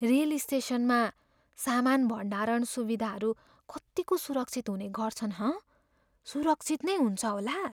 Rail स्टेसनमा सामान भण्डारण सुविधाहरू कतिको सुरक्षित हुने गर्छन् हँ? सुरक्षित नै हुन्छ होला?